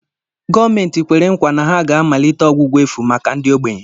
Gọọmenti kwere nkwa na ha ga-amalite ọgwụgwọ efu màkà ndi ogbenye.